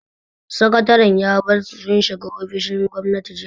Sakataren ya bar su sun shiga ofishin gwamnan jiya.